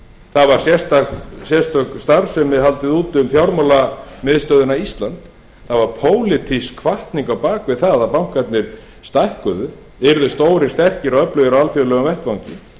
það var sérstakri starfsemi haldið úti um fjármálamiðstöðina ísland það var pólitísk hvatning á bak við það að bankarnir stækkuðu og yrðu stórir og sterkir og öflugir á alþjóðlegum vettvangi